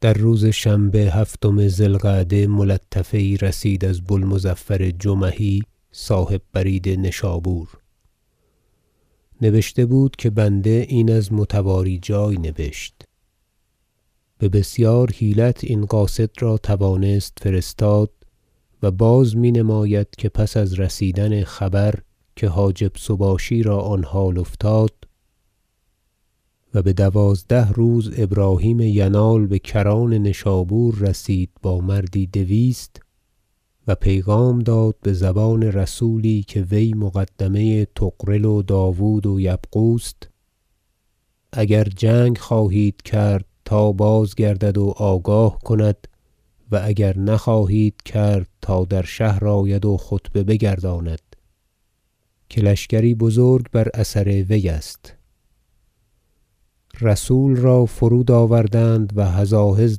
در روز شنبه هفتم ذی القعده ملطفه یی رسید از بو المظفر جمحی صاحب برید نشابور نبشته بود که بنده این از متواری جای نبشت به بسیار حیلت این قاصد را توانست فرستاد و باز می نماید که پس از رسیدن خبر که حاجب سباشی را آن حال افتاد و بدوازده روز ابراهیم ینال بکران نشابور رسید با مردی دویست و پیغام داد بزبان رسولی که وی مقدمه طغرل و داود و یبغوست اگر جنگ خواهید کرد تا بازگردد و آگاه کند و اگر نخواهید کرد تا در شهر آید و خطبه بگرداند که لشکری بزرگ بر اثر وی است رسول را فرود آوردند و هزاهز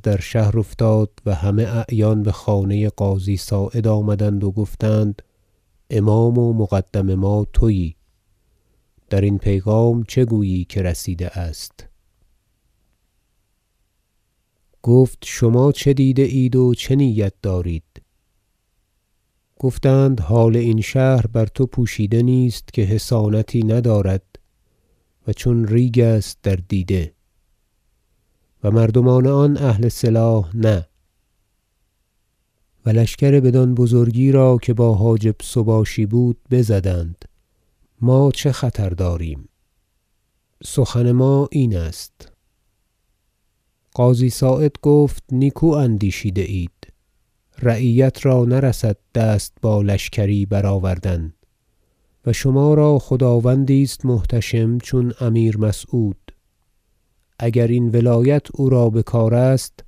در شهر افتاد و همه اعیان بخانه قاضی صاعد آمدند و گفتند امام و مقدم ما تویی درین پیغام چه گویی که رسیده است گفت شما چه دیده اید و چه نیت دارید گفتند حال این شهر بر تو پوشیده نیست که حصانتی ندارد و چون ریگ است در دیده و مردمان آن اهل سلاح نه و لشکر بدان بزرگی را که با حاجب سباشی بود بزدند ما چه خطر داریم سخن ما این است قاضی صاعد گفت نیکو اندیشیده اید رعیت را نرسد دست با لشکری برآوردن و شما را خداوندی است محتشم چون امیر مسعود اگر این ولایت او را بکار است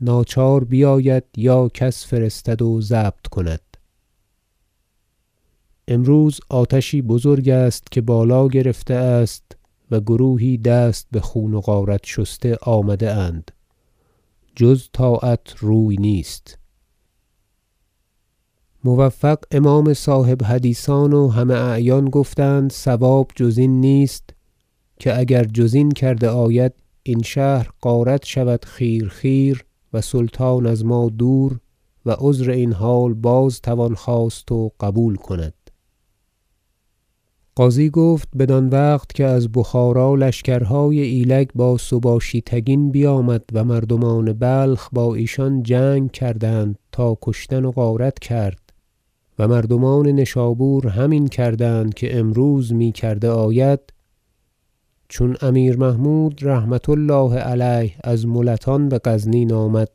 ناچار بیاید یا کس فرستد و ضبط کند امروز آتشی بزرگ است که بالا گرفته است و گروهی دست بخون و غارت شسته آمده اند جز طاعت روی نیست موفق امام صاحب حدیثان و همه اعیان گفتند صواب جز این نیست که اگر جز این کرده آید این شهر غارت شود خیر خیر و سلطان از ما دور و عذر این حال باز توان خواست و قبول کند قاضی گفت بدان وقت که از بخارا لشکرهای ایلگ با سباشی تگین بیامد و مردمان بلخ با ایشان جنگ کردند تا وی کشتن و غارت کرد و مردمان نشابور همین کردند که امروز می کرده آید چون امیر محمود رحمة الله علیه از ملتان بغزنین آمد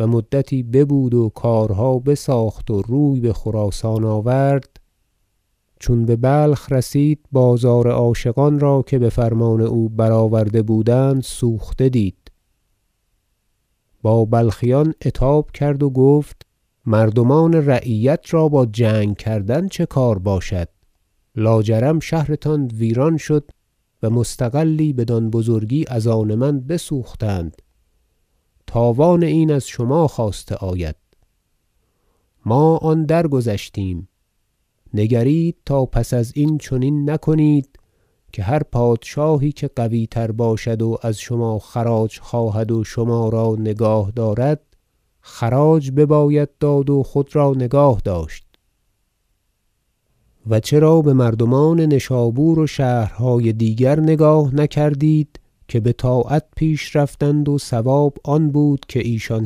و مدتی ببود و کارها بساخت و روی بخراسان آورد چون ببلخ رسید بازار عاشقان را که بفرمان او برآورده بودند سوخته دید با بلخیان عتاب کرد و گفت مردمان رعیت را با جنگ کردن چه کار باشد لا جرم شهرتان ویران شد و مستغلی بدین بزرگی از آن من بسوختند تاوان این از شما خواسته آید ما آن درگذشتیم نگرید تا پس ازین چنین نکنید که هر پادشاهی که قوی تر باشد و از شما خراج خواهد و شما را نگاه دارد خراج بباید داد و خود را نگاه داشت و چرا بمردمان نشابور و شهرهای دیگر نگاه نکردید که بطاعت پیش رفتند و صواب آن بود که ایشان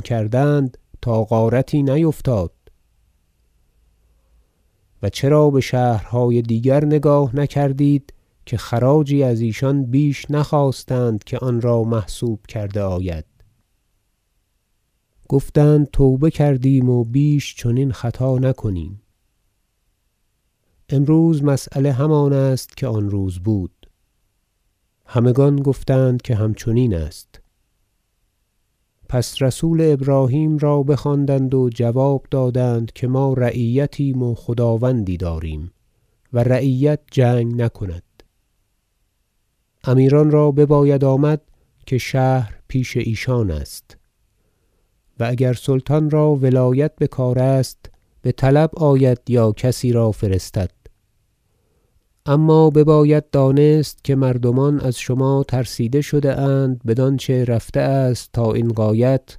کردند تا غارتی نیفتاد و چرا بشهرهای دیگر نگاه نکردید که خراجی از ایشان بیش نخواستند که آن را محسوب کرده آید گفتند توبه کردیم و بیش چنین خطا نکنیم امروز مسیله همان است که آن روز بود همگان گفتند که همچنین است پس رسول ابراهیم را بخواندند و جواب دادند که ما رعیتیم و خداوندی داریم و رعیت جنگ نکند امیران را بباید آمد که شهر پیش ایشان است و اگر سلطان را ولایت بکار است بطلب آید یا کسی را فرستد اما بباید دانست که مردمان از شما ترسیده شده اند بدانچه رفته است تا این غایت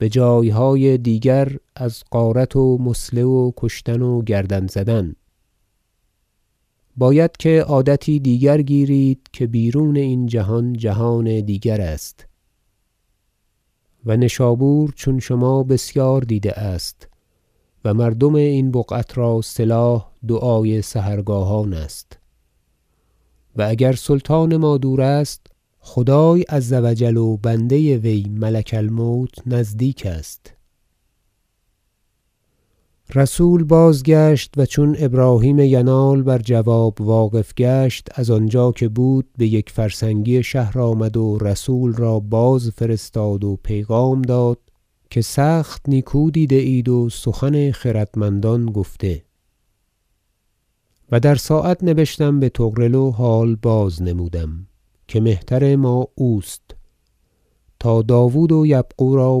بجایهای دیگر از غارت و مثله و کشتن و گردن زدن باید که عادتی دیگر گیرید که بیرون این جهان جهان دیگر است و نشابور چون شما بسیار دیده است و مردم این بقعت را سلاح دعای سحرگاهان است و اگر سلطان ما دور است خدای عز و جل و بنده وی ملک الموت نزدیک است رسول بازگشت و چون ابراهیم ینال بر جواب واقف گشت از آنجا که بود بیک فرسنگی شهر آمد و رسول را بازفرستاد و پیغام داد که سخت نیکو دیده اید و سخن خردمندان گفته و در ساعت نبشتم بطغرل و حال بازنمودم که مهتر ما اوست تا داود و یبغو را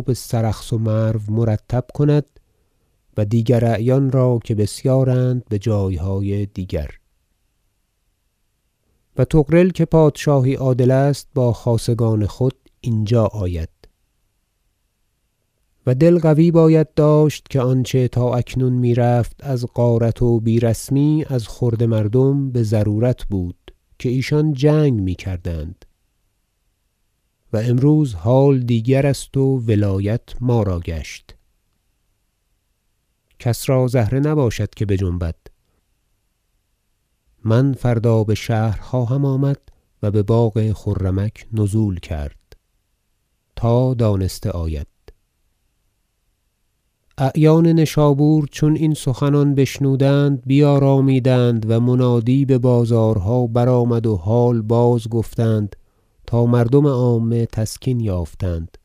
بسرخس و مرو مرتب کند و دیگر اعیان را که بسیارند به جایهای دیگر و طغرل که پادشاهی عادل است با خاصگان خود اینجا آید و دل قوی باید داشت که آنچه تا اکنون میرفت از غارت و بی رسمی از خرده مردم بضرورت بود که ایشان جنگ میکردند و امروز حال دیگر است و ولایت ما را گشت کس را زهره نباشد که بجنبد من فردا بشهر خواهم آمد و بباغ خرمک نزول کرد تا دانسته آید ورود ابراهیم ینال و طغرل بنشابور اعیان نشابور چون این سخنان بشنودند بیارامیدند و منادی ببازارها برآمد و حال بازگفتند تا مردم عامه تسکین یافتند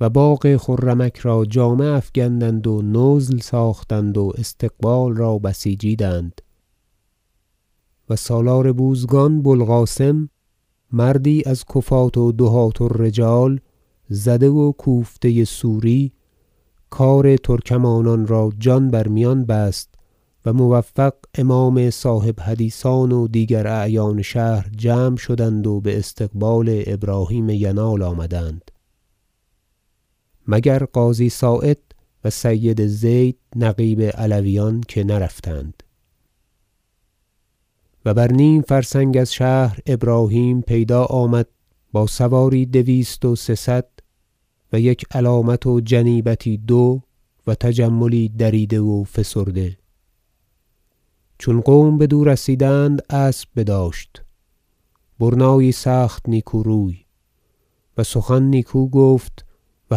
و باغ خرمک را جامه افگندند و نزل ساختند و استقبال را بسیجیدند و سالار بوزگان بو القاسم مردی از کفاة و دهاة- الرجال زده و کوفته سوری کار ترکمانان را جان بر میان بست و موفق امام صاحب حدیثان و دیگر اعیان شهر جمع شدند و باستقبال ابراهیم ینال آمدند مگر قاضی صاعد و سید زید نقیب علویان که نرفتند و بر نیم فرسنگ از شهر ابراهیم پیدا آمد با سواری دویست و سه صد و یک علامت و جنیبتی دو و تجملی دریده و فسرده چون قوم بدو رسیدند اسب بداشت برنایی سخت نیکو روی و سخن نیکو گفت و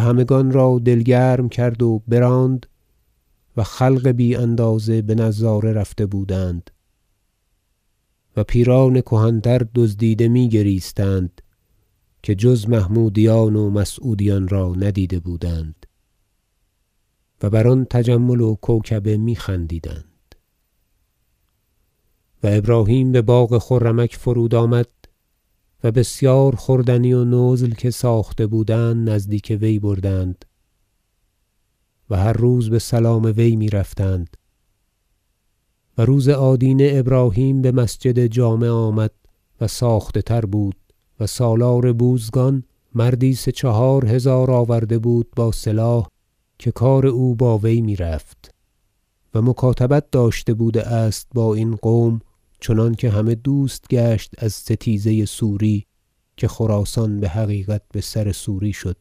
همگان را دل گرم کرد و براند و خلق بی اندازه بنظاره رفته بودند و پیران کهن تر دزدیده میگریستند که جز محمودیان و مسعودیان را ندیده بودند و بر آن تجمل و کوکبه می خندیدند و ابراهیم بباغ خرمک فرود آمد و بسیار خوردنی و نزل که ساخته بودند نزدیک وی بردند و هر روز بسلام وی میرفتند و روز آدینه ابراهیم بمسجد جامع آمد و ساخته تر بود و سالار بوزگان مردی سه چهار هزار آورده بود با سلاح که کار او با وی میرفت و مکاتبت داشته بوده است با این قوم چنانکه همه دوست گشت از ستیزه سوری که خراسان بحقیقت بسر سوری شد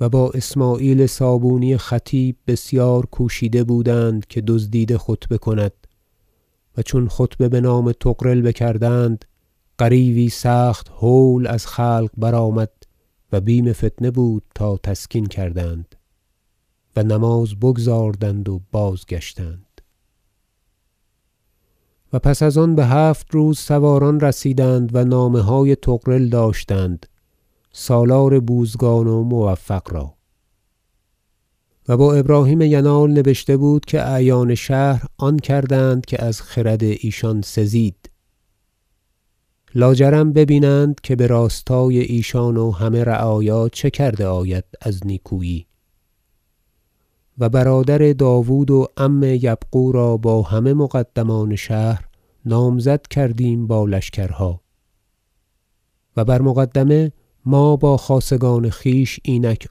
و با اسمعیل صابونی خطیب بسیار کوشیده بودند که دزدیده خطبه کند و چون خطبه بنام طغرل بکردند غریو ی سخت هول از خلق برآمد و بیم فتنه بود تا تسکین کردند و نماز بگزاردند و بازگشتند و پس از آن بهفت روز سواران رسیدند و نامه های طغرل داشتند سالار بوزگان و موفق را و با ابراهیم ینال نبشته بود که اعیان شهر آن کردند که از خرد ایشان سزید لا جرم ببینند که براستای ایشان و همه رعایا چه کرده آید از نیکویی و برادر داود و عم یبغو را با همه مقدمان شهر نامزد کردیم با لشکرها و بر مقدمه ما با خاصگان خویش اینک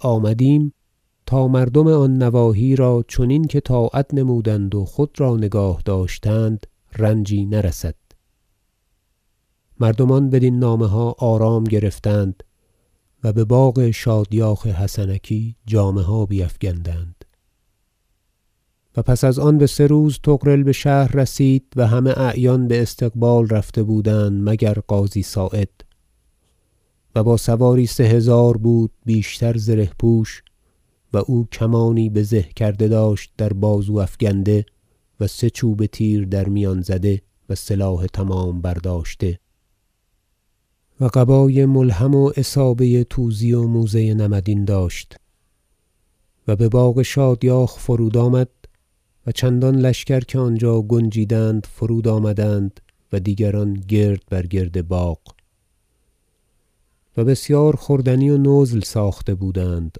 آمدیم تا مردم آن نواحی را چنین که طاعت نمودند و خود را نگاه داشتند رنجی نرسد مردمان بدین نامه ها آرام گرفتند و بباغ شادیاخ حسنکی جامه ها بیفگندند و پس از آن بسه روز طغرل بشهر رسید و همه اعیان باستقبال رفته بودند مگر قاضی صاعد و با سواری سه هزار بود بیشتر زره پوش و او کمانی بزه کرده داشت در بازو افگنده و سه چوبه تیر در میان زده و سلاح تمام برداشته و قبای ملحم و عصابه توزی و موزه نمدین داشت و بباغ شادیاخ فرود آمد و لشکر چندانکه آنجا گنجیدند فرود آمدند و دیگران گرد بر گرد باغ و بسیار خوردنی و نزل ساخته بودند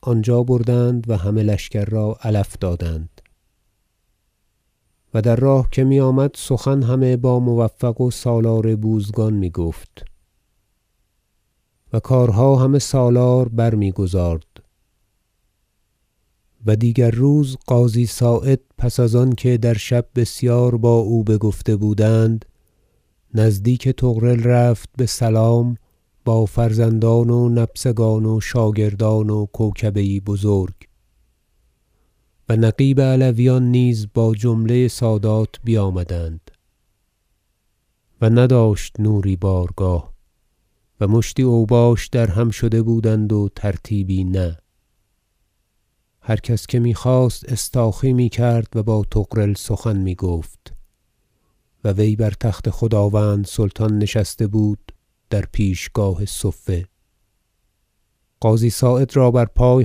آنجا بردند و همه لشکر را علف دادند و در راه که میآمد سخن همه با موفق و سالار بوزگان میگفت و کارها همه سالار برمیگزارد و دیگر روز قاضی صاعد پس از آنکه در شب بسیار با او بگفته بودند نزدیک طغرل رفت بسلام با فرزندان و نبسگان و شاگردان و کوکبه یی بزرگ و نقیب علویان نیز با جمله سادات بیامدند و نداشت نوری بارگاه و مشتی اوباش درهم شده بودند و ترتیبی نه و هر کس که میخواست استاخی میکرد و با طغرل سخن میگفت و وی بر تخت خداوند سلطان نشسته بود در پیشگاه صفه قاضی صاعد را بر پای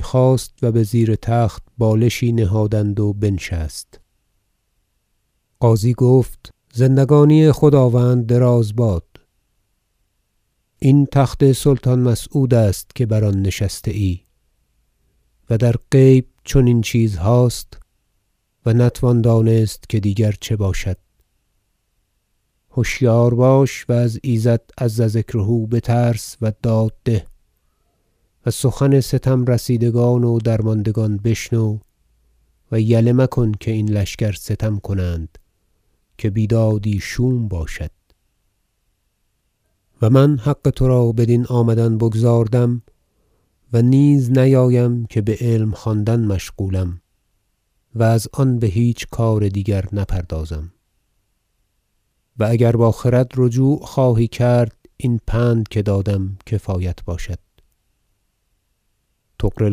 خاست و بزیر تخت بالشی نهادند و بنشست قاضی گفت زندگانی خداوند دراز باد این تخت سلطان مسعود است که بر آن نشسته ای و در غیب چنین چیزهاست و نتوان دانست که دیگر چه باشد هشیار باش و از ایزد عز ذکره بترس و داد ده و سخن ستم رسیدگان و درماندگان بشنو و یله مکن که این لشکر ستم کنند که بیدادی شوم باشد و من حق ترا بدین آمدن بگزاردم و نیز نیایم که بعلم خواندن مشغولم و از آن بهیچ کار دیگر نپردازم و اگر با خرد رجوع خواهی کرد این پند که دادم کفایت باشد طغرل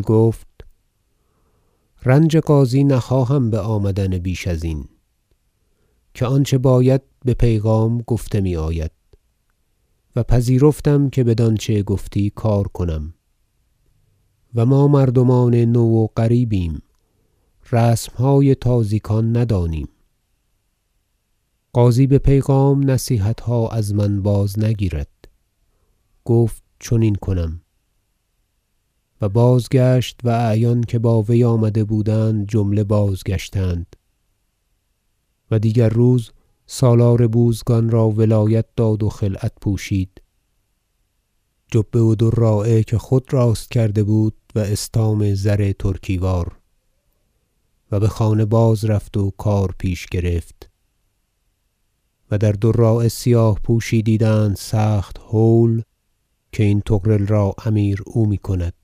گفت رنج قاضی نخواهم بآمدن بیش ازین که آنچه باید به پیغام گفته میآید و پذیرفتم که بدانچه گفتی کار کنم و ما مردمان نو و غریبیم رسمهای تازیکان ندانیم قاضی به پیغام نصیحتها از من بازنگیرد گفت چنین کنم و بازگشت و اعیان که با وی آمده بودند جمله بازگشتند و دیگر روز سالار بوزگان را ولایت داد و خلعت پوشید جبه و دراعه که خود راست کرده بود و استام زر ترکی وار و بخانه باز رفت و کار پیش گرفت و در دراعه سیاه پوشی دیدند سخت هول که این طغرل را امیر او میکند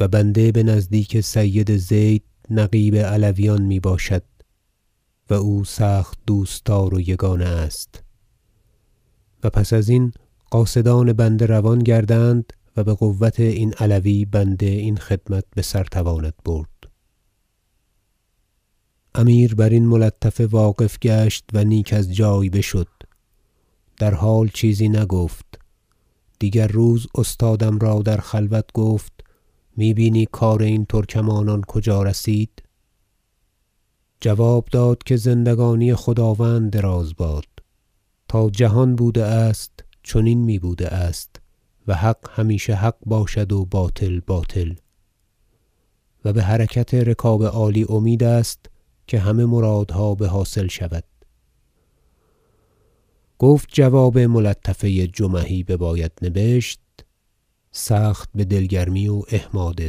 و بنده بنزدیک سید زید نقیب علویان میباشد و او سخت دوستدار و یگانه است و پس ازین قاصدان بنده روان گردند و بقوت این علوی بنده این خدمت بسر تواند برد امیر برین ملطفه واقف گشت و نیک از جای بشد و در حال چیزی نگفت دیگر روز استادم را در خلوت گفت می بینی کار این ترکمانان کجا رسید جواب داد که زندگانی خداوند دراز باد تا جهان بوده است چنین می بوده است و حق همیشه حق باشد و باطل باطل و بحرکت رکاب عالی امید است که همه مرادها بحاصل شود گفت جواب ملطفه جمحی بباید نبشت سخت بدل گرمی و احماد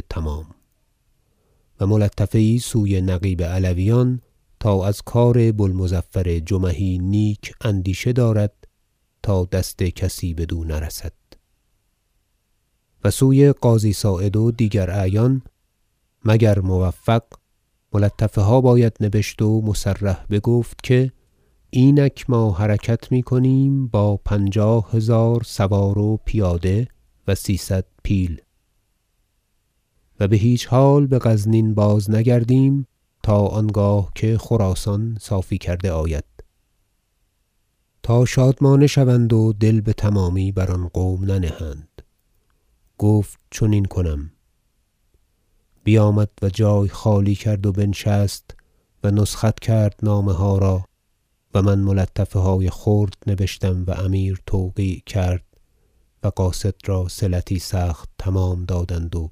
تمام و ملطفه یی سوی نقیب علویان تا از کار بو المظفر جمحی نیک اندیشه دارد تا دست کسی بدو نرسد و سوی قاضی صاعد و دیگر اعیان مگر موفق ملطفه ها باید نبشت و مصرح بگفت که اینک ما حرکت میکنیم با پنجاه هزار سوار و پیاده و سیصد پیل و بهیچ حال بغزنین بازنگردیم تا آنگاه که خراسان صافی کرده آید تا شادمانه شوند و دل بتمامی بر آن قوم ننهند گفت چنین کنم بیامد و جای خالی کرد و بنشست و نسخت کرد نامه ها را و من ملطفه های خرد نبشتم و امیر توقیع کرد و قاصد را صلتی سخت تمام دادند و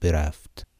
برفت